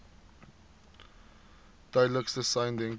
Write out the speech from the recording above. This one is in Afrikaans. duidelikste sein denkbaar